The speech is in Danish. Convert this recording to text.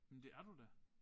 Men det er du da